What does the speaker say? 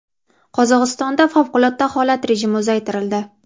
Qozog‘istonda favqulodda holat rejimi uzaytirildi.